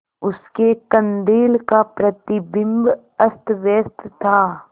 उसके कंदील का प्रतिबिंब अस्तव्यस्त था